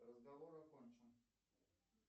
разговор окончен